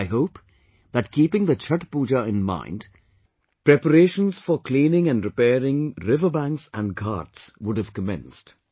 I hope that keeping the Chatth Pooja in mind, preparations for cleaning and repairing riverbanks and Ghats would have commenced